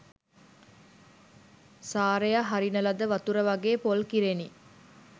සාරය හරින ලද වතුර වගේ පොල් කිරෙනි